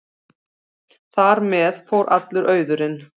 Þar með fór allur auðurinn.